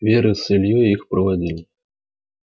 вера с ильёй их проводили